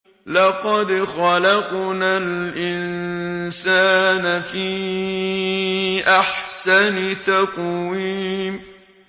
لَقَدْ خَلَقْنَا الْإِنسَانَ فِي أَحْسَنِ تَقْوِيمٍ